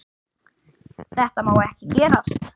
Þetta má ekki gerast.